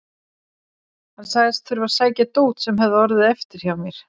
Hann sagðist þurfa að sækja dót sem hefði orðið eftir hjá mér.